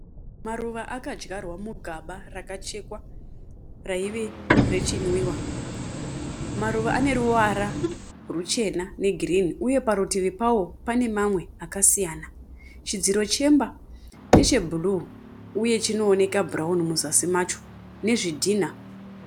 Maruva akadyarwa mugaba rakachekwa raive rechinwiwa. Maruva ane ruvara ruchena negirini uye parutivi pawo pane mamwe akasiyana. Chidziro chemba ndechebhuruu uye chinooneka bhurauni muzasi macho nezvidhina.